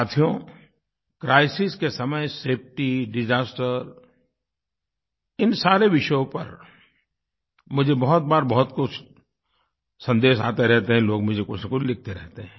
साथियो क्राइसिस के समय सेफटी डिसास्टर इन सारे विषयों पर मुझे बहुत बार बहुत कुछ सन्देश आते रहते हैं लोग मुझे कुछनकुछ लिखते रहते हैं